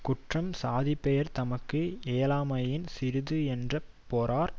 குற்றம் சாதி பெயர் தமக்கு ஏலாமையின் சிறிது என்று பொறார்